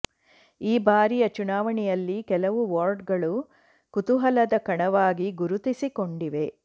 ಈ ಬಾರಿಯ ಚುನಾವಣೆಯಲ್ಲಿ ಕೆಲವು ವಾರ್ಡ್ಗಳು ಕುತೂಹಲದ ಕಣವಾಗಿ ಗುರುತಿಸಿಕೊಂಡಿವೆ